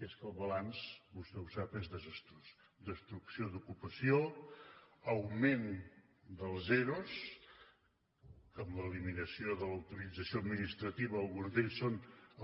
i és que el balanç vostè ho sap és desastrós destrucció d’ocupació augment dels ero que amb l’eliminació de l’autorització administrativa alguns d’ells són